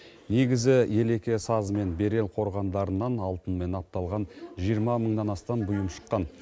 негізі елеке сазы мен берел қорғандарынан алтынмен апталған жиырма мыңнан астам бұйым шыққан